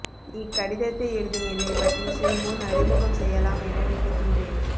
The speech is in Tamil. இக்கடிதத்தை எழுதும் என்னை பற்றி சிறு முன் அறிமுகம் செய்யலாம் என நினைகின்றேன்